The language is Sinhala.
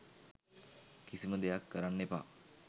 කිසිම දෙයක් කරන්න එපා